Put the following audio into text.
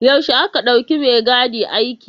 Yaushe aka ɗauki maigadi aiki.